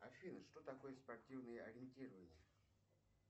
афина что такое спортивное ориентирование